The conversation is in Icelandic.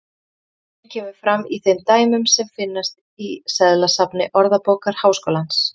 Sama merking kemur fram í þeim dæmum sem finnast í seðlasafni Orðabókar Háskólans.